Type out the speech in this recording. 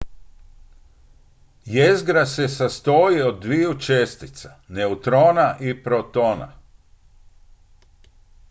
jezgra se sastoji od dviju čestica neutrona i protona